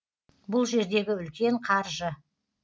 бұл жердегі үлкен қаржы